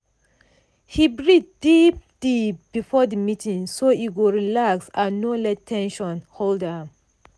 he breathe deep-deep before the meeting so e go relax and no let ten sion hold am.